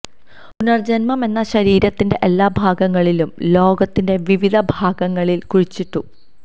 പുനർജന്മം എന്ന ശരീരത്തിന്റെ എല്ലാ ഭാഗങ്ങളിലും ലോകത്തിന്റെ വിവിധ ഭാഗങ്ങളിൽ കുഴിച്ചിട്ടു